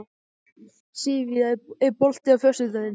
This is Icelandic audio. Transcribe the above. Sivía, er bolti á föstudaginn?